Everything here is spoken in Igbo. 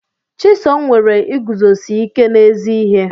Chisom nwere iguzosi ike n'ezi ihe.